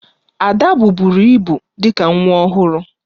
Ada buburu ibu dị ka nwa ọhụrụ